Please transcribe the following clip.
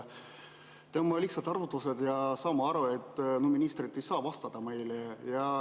Teeme lihtsad arvutused ja saame aru, et ministrid ei saa vastata meile.